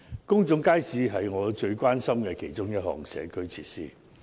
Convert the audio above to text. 公眾街市是我最關心的其中一項社區設施。